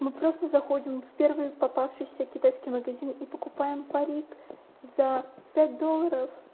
мы просто заходим в первый попавшийся китайский магазин и покупаем парик за пять долларов